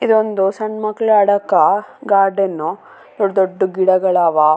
ಅಲ್ಲಿ ಅಕ್ಕ ಪಕ್ಕದಲಿ ಯಲ್ಲ ತುಂಬಾ ಮರಾಗಲು ಕಾಂಸ್ತಾಯಿದೆ. ಒಂದು ಮನೇನು ಕಾಂಸ್ತಾಯಿದೆ.